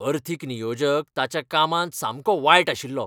अर्थीक नियोजक ताच्या कामांत सामको वायट आशिल्लो.